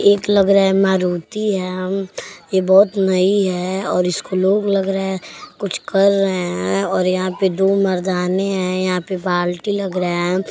एक लग रहा है मारुती है अम्म। ये बहोत नइ है और इसको लोग लग रहा है कुछ कर रहा हैं और यहां पे दो मर्दाने हैं। यहां पे बाल्टी लग रहा है।